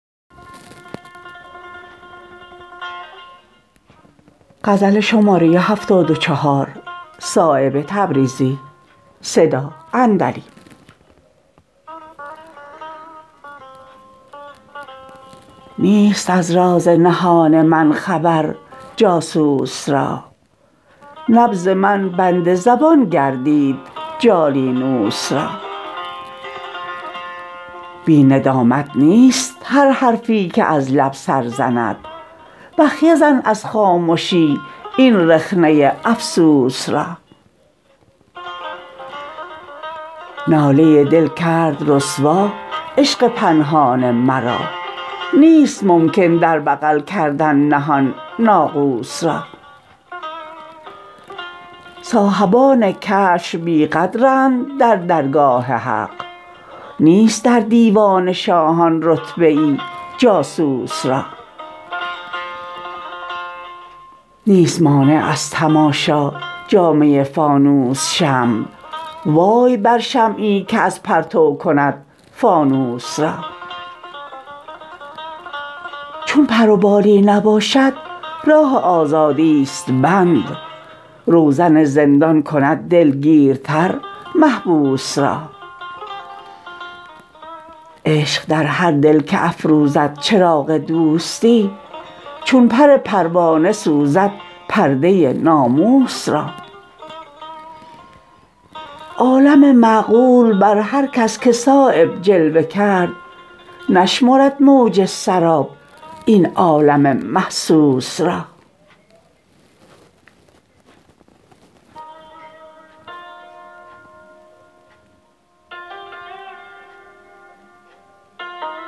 نیست از راز نهان من خبر جاسوس را نبض من بند زبان گردید جالینوس را بی ندامت نیست هر حرفی که از لب سر زند بخیه زن از خامشی این رخنه افسوس را ناله دل کرد رسوا عشق پنهان مرا نیست ممکن در بغل کردن نهان ناقوس را صاحبان کشف بی قدرند در درگاه حق نیست در دیوان شاهان رتبه ای جاسوس را نیست مانع از تماشا جامه فانوس شمع وای بر شمعی که از پرتو کند فانوس را چون پر و بالی نباشد راه آزادی است بند روزن زندان کند دلگیرتر محبوس را عشق در هر دل که افروزد چراغ دوستی چون پر پروانه سوزد پرده ناموس را عالم معقول بر هر کس که صایب جلوه کرد نشمرد موج سراب این عالم محسوس را